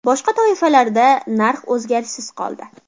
Boshqa toifalarda narx o‘zgarishsiz qoldi.